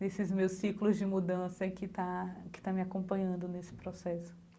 nesses meus ciclos de mudança que está que está me acompanhando nesse processo.